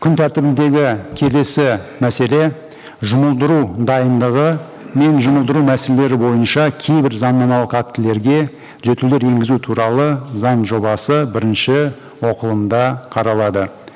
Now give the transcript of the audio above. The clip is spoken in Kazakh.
күн тәртібіндегі келесі мәселе жұмылдыру дайындығы мен жұмылдыру мәселелері бойынша кейбір заңнамалық актілерге түзетулер енгізу туралы заң жобасы бірінші оқылымда қаралады